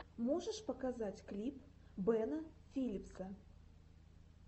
можешь показать клип бена филипса